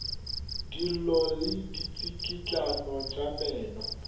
dillo le ditsikitlano tša meno